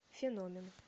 феномен